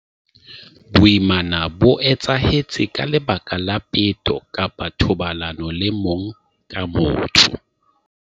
Boimana bo etsahetse ka lebaka la peto kapa thobalano le mong ka motho.